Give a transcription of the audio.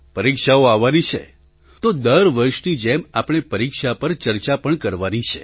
પરીક્ષાઓ આવવાની છે તો દર વર્ષની જેમ આપણે પરીક્ષા પર ચર્ચા પણ કરવાની છે